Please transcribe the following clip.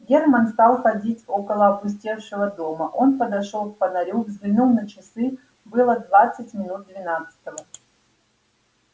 германн стал ходить около опустевшего дома он подошёл к фонарю взглянул на часы было двадцать минут двенадцатого